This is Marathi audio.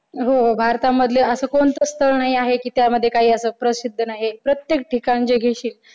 हो भारतामध्ये असं कोणतं स्थळ नाहीये आहे की त्यामध्ये काही प्रसिद्ध नाहीये की प्रत्येक ठिकाणचे घेशील